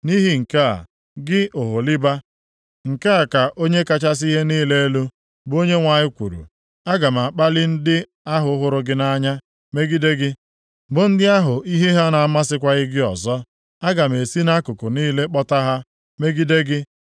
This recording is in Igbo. “Nʼihi nke a, gị Oholiba, nke a ka Onye kachasị ihe niile elu, bụ Onyenwe anyị kwuru: Aga m akpali ndị ahụ hụrụ gị nʼanya + 23:22 Ndị ahụ hụrụ gị nʼanya ya bụ ndị iko ya megide gị, bụ ndị ahụ ihe ha na-amasịkwaghị gị ọzọ. Aga m esi nʼakụkụ niile kpọta ha, megide gị.